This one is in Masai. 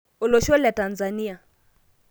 olosho le Tanzania